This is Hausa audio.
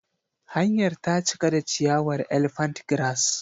Hanyar ta cika da ciyawar Elephant grass.